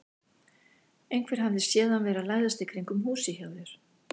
Einhver hafði séð hann vera að læðast í kringum húsið hjá þér.